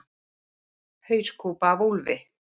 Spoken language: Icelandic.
Hauskúpa af úlfi.